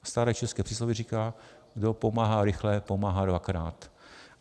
Staré české přísloví říká: kdo pomáhá rychle, pomáhá dvakrát.